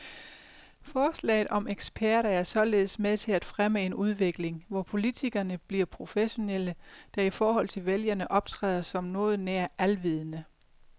Forslaget om eksperter er således med til at fremme en udvikling, hvor politikerne bliver professionelle, der i forhold til vælgerne optræder som noget nær alvidende.